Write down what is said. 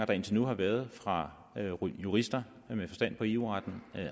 der indtil nu har været fra jurister med forstand på eu retten